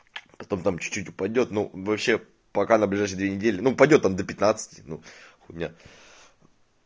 потом там чуть-чуть упадёт ну вообще пока на ближайшие две недели ну упадёт там до пятнадцати ну хуйня